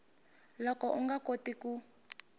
loko u nga koti ku